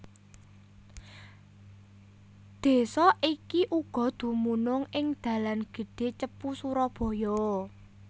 Desa iki uga dumunung ing dalan gedhé Cepu Surabaya